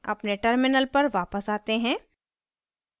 अपने terminal पर वापस आते हैं